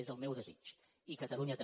és el meu desig i catalunya també